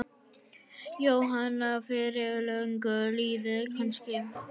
Jóhanna: Fyrir löngu síðan kannski?